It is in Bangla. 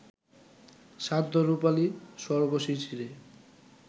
শান্ত রুপালি স্বর্গ-শিশিরে